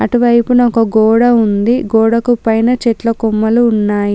అటు వైపున ఒక గోడ ఉంది. గోడకు పైన చెట్ల కొమ్మలు ఉన్నాయి.